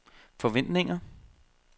forventninger